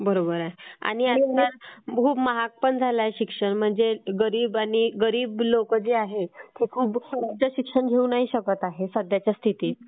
आणि खूप महाग पण झालंय शिक्षण म्हणजे गरीब लोक जे आहेत ते खूप उच्चशिक्षण घेऊ नाही शकत आहेत सध्याच्या स्थितीत.